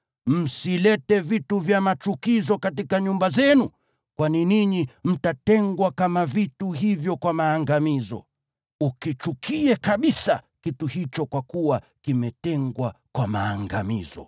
Msilete vitu vya machukizo katika nyumba zenu kwani ninyi, mtatengwa kama vitu hivyo kwa maangamizo. Ukichukie kabisa kitu hicho kwa kuwa kimetengwa kwa maangamizo.